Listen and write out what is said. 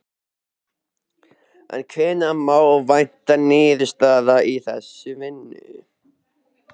En hvenær má vænta niðurstaðna í þeirri vinnu?